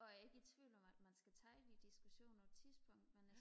og jeg er ikke i tvivl om at man skal tage de diskussioner på et tidspunkt men